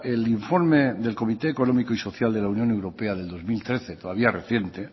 el informe del comité económico y social de la unión europea del dos mil trece todavía reciente